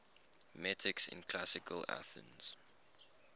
metics in classical athens